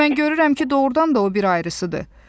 İndi mən görürəm ki, doğurdan da o bir ayırısıdır.